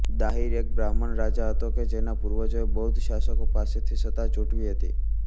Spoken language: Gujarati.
દાહિર એક બ્રાહ્મણ રાજા હતો કે જેના પૂર્વજોએ બૌદ્ધ શાસકો પાસેથી સત્તા ઝૂંટવી હતી